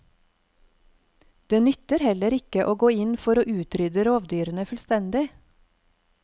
Det nytter heller ikke å gå inn for å utrydde rovdyrene fullstendig.